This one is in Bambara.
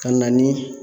Ka na ni